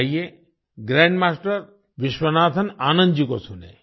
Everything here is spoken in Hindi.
आइए ग्रैंडमास्टर विश्वनाथन आनंद जी को सुनें